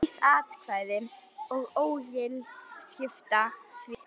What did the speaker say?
Auð atkvæði og ógild skipta því ekki máli.